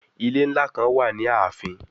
Ile nla kan wa ni aafin